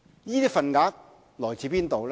這些份額來自哪裏？